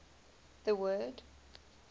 the word